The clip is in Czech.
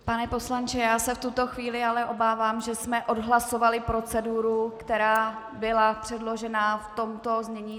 Pane poslanče, já se v tuto chvíli ale obávám, že jsme odhlasovali proceduru, která byla předložena v tomto znění.